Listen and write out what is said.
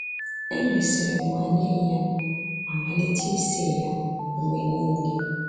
Emesịrị m nwale ya ma malite ise ya mgbe nile.